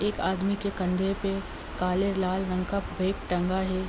एक आदमी के कंधे पे काले लाल रंग का बैग टंगा है।